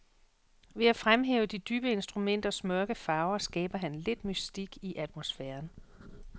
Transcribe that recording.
Ved at fremhæve de dybe instrumenters mørke farver skaber han lidt mystik i atmosfæren.